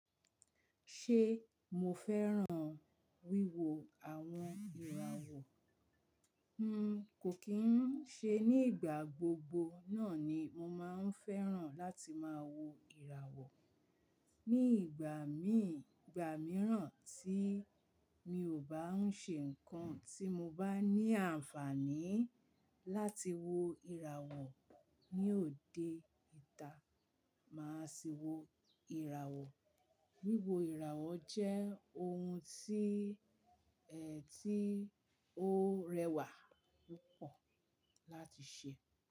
Ṣé mo fẹ́ràn wíwo àwọn ìràwọ̀? N kò kín ń ṣe, ní ìgbà gbogbo náà ni mo máa ń fẹ́ràn láti máa wo ìràwọ̀. Ní ìgbà mí ìgbà mìíràn tí mi ò bá ń ṣe nǹkan tí mo bá ní àǹfààní láti wo ìràwọ̀ ní òde ìta, màá sì wo ìràwọ̀. Wíwo ìràwọ̀ jẹ́ ohun tí, ẹ tí ó rẹwà púpọ̀ láti ṣe.